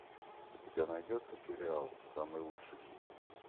у тебя найдется сериал самый лучший хит